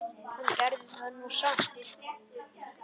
Hann gerði það nú samt.